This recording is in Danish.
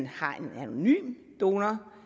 har en anonym donor